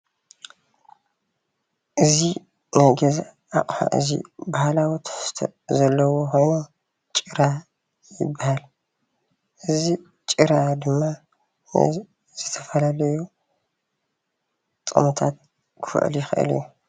እዚ ናይ ገዛ ኣቅሓ እዚ ባህላዊ ትሕዝቶ ዘለዎ ኮይኑ ጭራ ይባሃል፣ እዚ ጭራ ድማ ንዝተፈላለዩ ጥቅምታት ክውዕል ይክእል እዩ፡፡